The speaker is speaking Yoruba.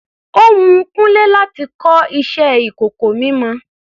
Ó wun Kúnlé láti kọ iṣẹ ìkọ̀kọ̀ mímọ.